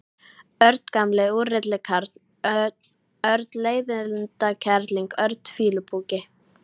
Örn gamli úrilli karl, Örn leiðindakerling, Örn fýlupoki.